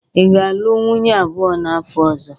Ị ga-alụ nwunye abụọ n'afọ ọzọ?